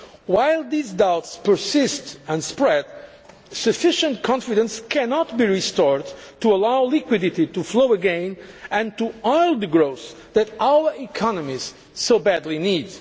banks. While these doubts persist and spread, sufficient confidence cannot be restored to allow liquidity to flow again and to oil the growth that our economies so badly